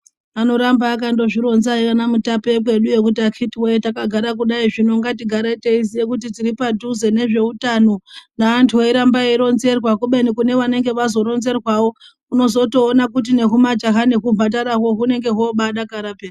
Ano ramba akazvi ronza iyena mutape wekwedu yoo kuti akiti takagara kudai zvino ngati gare teiziye kuti tiri padhuze ne zveutano vantu vei ramba vei ronzerwa kubeni kune vanenge vazo ronzerwa vo unozotoona kuti ne huma jaha nehu mhandarahwo hunenge hobai dakara peya.